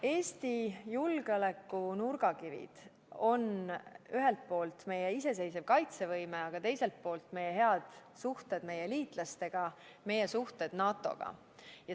Eesti julgeoleku nurgakivid on ühelt poolt meie iseseisev kaitsevõime, aga teiselt poolt meie head suhted liitlastega, meie suhted NATO-ga.